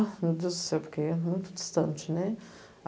Meu Deus do céu, porque é muito distante, né?